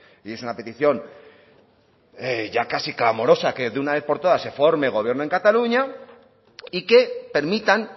y es una petición ya casi clamorosa que de una vez por todas se forme gobierno en cataluña y que permitan